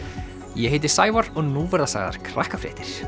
ég heiti Sævar og nú verða sagðar Krakkafréttir